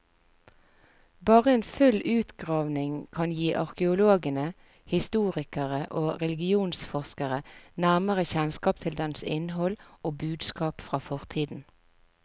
Bare en full utgravning kan gi arkeologene, historikere og religionsforskere nærmere kjennskap til dens innhold og budskap fra fortiden.